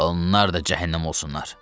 Onlar da cəhənnəm olsunlar.